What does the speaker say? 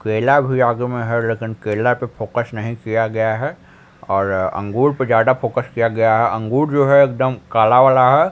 केला भी आगे में है लेकिन केला पे फोकस नहीं किया गया है और अंगूर पे ज्यादा फोकस किया गया है अंगूर जो है एकदम काला वाला है।